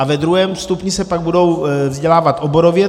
A ve druhém stupni se pak budou vzdělávat oborově.